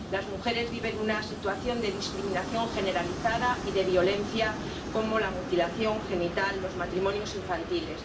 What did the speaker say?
Las mujeres viven una situación de discriminación generalizada y de violencia, como la mutilación genital y los matrimonios infantiles.